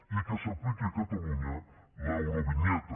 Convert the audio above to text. i que s’apliqui a catalunya l’eurovinyeta